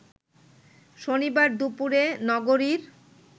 শনিবার দুপুরে নগরীর